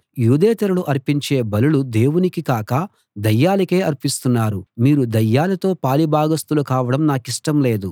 యూదేతరులు అర్పించే బలులు దేవునికి కాక దయ్యాలకే అర్పిస్తున్నారు మీరు దయ్యాలతో పాలి భాగస్తులు కావడం నాకిష్టం లేదు